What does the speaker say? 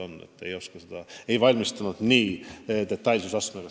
Andres Ammas, palun!